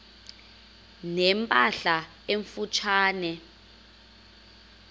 ne mpahla emfutshane